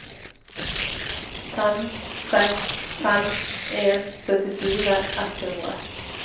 fem seks fem en syttifire ett hundre